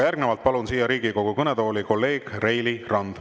Järgnevalt palun siia Riigikogu kõnetooli kolleeg Reili Ranna.